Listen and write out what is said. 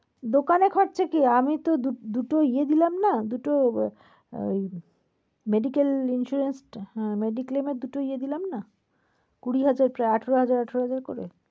দোকানে খরচা কি আমি দু~দুটো ইয়ে দিলাম না দুটো ওই~ medical insurance হ্যাঁ medical এর দুটো ইয়ে দিলাম না? কুড়ি হাজার প্রায় আঠারো হাজার আঠারো হাজার করে।